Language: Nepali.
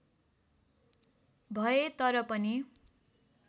भए तर पनि